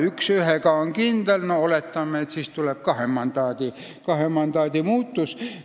Üks on kindel, no oletame, et siis tuleb kahe mandaadi muudatus.